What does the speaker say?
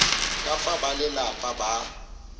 ya ka fa balelapa ba